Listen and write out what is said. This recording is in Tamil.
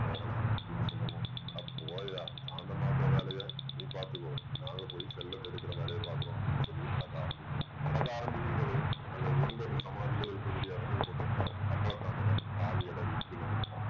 போகலாம் அப்படின்னு சொல்லுவோம் அட போயா சாந்தமாக்குற வேலைய நீ பார்த்துக்கோ நாங்க போய் செல்வத்த எடுக்கிற வேலைய பார்க்கிறோம் அப்படின்னு சொல்லி நடக்க ஆரம்பிக்கிறான் நடக்க ஆரம்பிக்கும் போதே அந்த ஒன்பது சமாதிகள் இருக்கக்கூடிய இடத்துக்கு பக்கத்துல கம்பளதானோட கால் இடறி கீழ விழுறான்